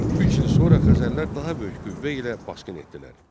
Üç il sonra Xəzərlər daha böyük qüvvə ilə basqın etdilər.